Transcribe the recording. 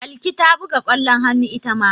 Balki ta buga ƙwallon hannu ita ma.